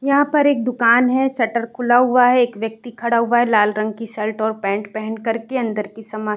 यहाँ पर एक दुकान है। शटर खुला हुआ है। एक व्यक्ति खड़ा हुआ है लाल रंग की शर्ट और पैंट पहन करके। अंदर की समा --